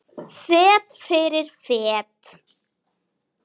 Fet fyrir fet.